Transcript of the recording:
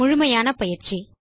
முழுமையான பயிற்சி